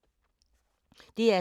DR2